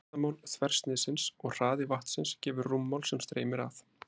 Flatarmál þversniðsins og hraði vatnsins gefur rúmmál sem streymir fram.